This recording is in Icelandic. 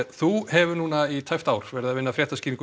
þú hefur nú í tæpt ár unnið fréttaskýringu